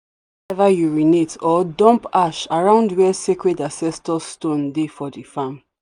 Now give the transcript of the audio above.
ever urinate or dump ash around where sacred ancestor stone dey for the farm.